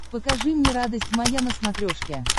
покажи мне радость моя на смотрешке